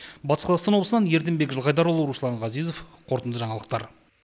батыс қазақстан облысынан ерденбек жылқайдарұлы руслан ғазезов қорытынды жаңалықтар